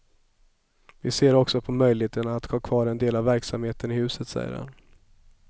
Vi ser också på möjligheten att ha kvar en del av verksamheten i huset, säger han.